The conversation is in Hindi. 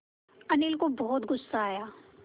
अनिल को बहुत गु़स्सा आया